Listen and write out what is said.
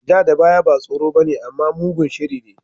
Ja da baya ba tsoro bane amma mugun shiri ne.